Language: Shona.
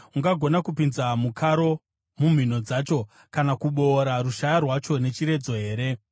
Ungagona kupinza mukaro mumhino dzayo, kana kuboora rushaya rwayo nechiredzo here?